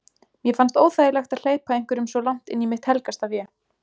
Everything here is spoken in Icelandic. Mér fannst óþægilegt að hleypa einhverjum svo langt inn í mitt helgasta vé.